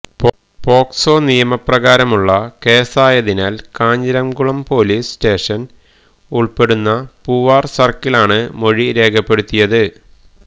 POCSO നിയമ പ്രകാരമുള്ള കേസായതിനാൽ കാഞ്ഞിരംകുളം പൊലീസ് സ്റ്റേഷൻ ഉൾപ്പെടുന്ന പൂവാർ സർക്കിളാണ് മൊഴി രേഖപ്പെടുത്തിയത്